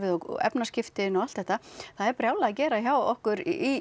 og efnaskiptin og allt þetta það er brjálað að gera hjá okkur í